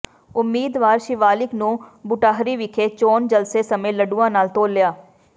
ਉਮੀਦਵਾਰ ਸ਼ਿਵਾਲਿਕ ਨੂੰ ਬੁਟਾਹਰੀ ਵਿਖੇ ਚੋਣ ਜਲਸੇ ਸਮੇਂ ਲੱਡੂਆਂ ਨਾਲ ਤੋਲਿਆ